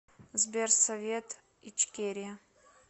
сбер совет ичкерия